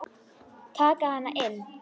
Taka hana inn.